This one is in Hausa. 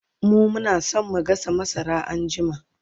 mu Muna San mu gasa masara anjima